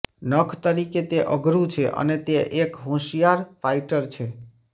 નખ તરીકે તે અઘરું છે અને તે એક હોશિયાર ફાઇટર છે